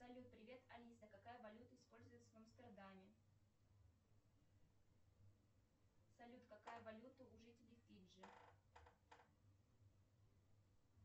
салют привет алиса какая валюта используется в амстердаме салют какая валюта у жителей фиджи